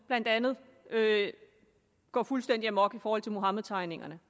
blandt andet gå fuldstændig amok over muhammedtegningerne